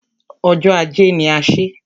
Ọjọ́ ajé ni a ṣé.